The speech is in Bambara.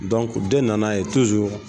den nana ye